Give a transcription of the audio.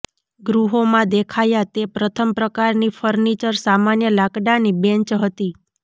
ગૃહોમાં દેખાયા તે પ્રથમ પ્રકારની ફર્નિચર સામાન્ય લાકડાની બેન્ચ હતી